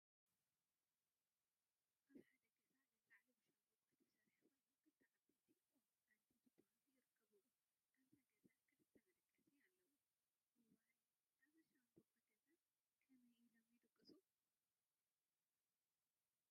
አብ ሓደ ገዛ ላለዕሉ ብሻምበቆ ዝተሰርሐ ኮይኑ ክልተ ዓበይቲ ኦም ዓንዲ ዝበሃሉ ይርከቡዎ፡፡ አብዞ ገዛ ክልተ መደቀሲ አለዎ፡፡ እዋይ! አብዚ ሻምበቆ ገዛ ከመይ ኢሎም ይድቅሱ?